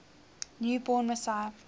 new born messiah